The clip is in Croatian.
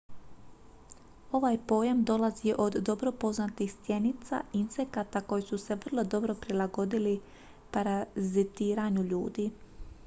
ovaj pojam dolazi od dobro poznatih stjenica insekata koji su se vrlo dobro prilagodili parazitiranju ljudi